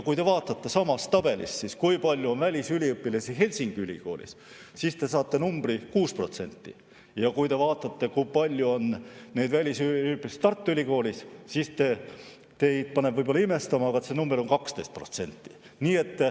Kui te vaatate samast tabelist, kui palju on välisüliõpilasi Helsingi Ülikoolis, siis te saate vastuseks 6%, ja kui te vaatate, kui palju on välisüliõpilasi Tartu Ülikoolis, siis teid paneb see võib-olla imestama, aga vastus on 12%.